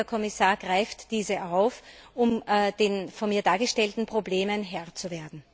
Ich hoffe, der Kommissar greift diese auf, um der von mir dargestellten Problemen Herr zu werden.